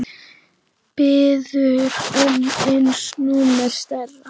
Biður um einu númeri stærra.